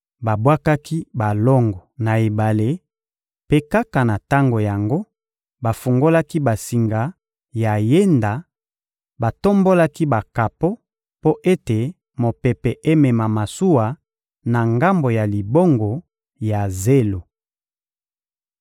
Babwakaki balongo na ebale; mpe kaka na tango yango, bafungolaki basinga ya yenda, batombolaki bakapo mpo ete mopepe emema masuwa na ngambo ya libongo ya zelo.